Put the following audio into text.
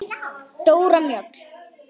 Dóra Mjöll.